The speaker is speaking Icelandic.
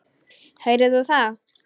Heyrðir þú það?